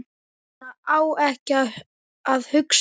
Svona á ekki að hugsa.